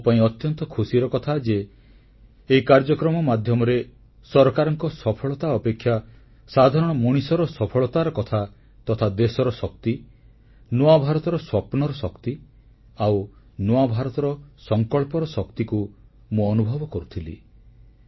ମୋପାଇଁ ଅତ୍ୟନ୍ତ ଖୁସିର କଥା ଯେ ଏହି କାର୍ଯ୍ୟକ୍ରମ ମାଧ୍ୟମରେ ସରକାରଙ୍କ ସଫଳତା ଅପେକ୍ଷା ସାଧାରଣ ମଣିଷର ସଫଳତାର କଥା ତଥା ଦେଶର ଶକ୍ତି ନୂଆ ଭାରତର ସ୍ୱପ୍ନର ଶକ୍ତି ଆଉ ନୂଆ ଭାରତର ସଂକଳ୍ପର ଶକ୍ତିକୁ ମୁଁ ଅନୁଭବ କରୁଥିଲି